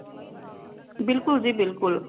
ਬਿਲਕੁਲ ਜੀ ਬਿਲਕੁਲ